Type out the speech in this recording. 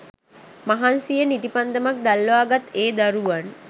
මහන්සියෙන් ඉටිපන්දමක් දල්වා ගත් ඒ දරුවන්